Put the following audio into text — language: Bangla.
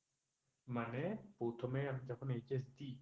মানে প্রথমে আমি যখন HSC